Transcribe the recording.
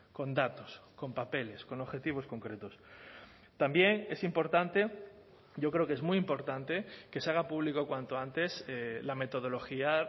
con datos con papeles con objetivos concretos también es importante yo creo que es muy importante que se haga público cuanto antes la metodología